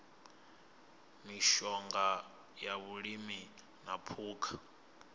mishonga ya vhulimi na phukha